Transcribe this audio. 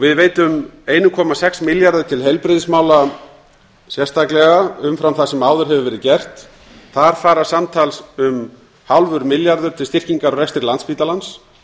við veitum einum komma sex milljarði til heilbrigðismála sérstaklega umfram það sem áður hefur verið gert þar fara samtals um hálfur milljarður til styrkingar á rekstri landspítalans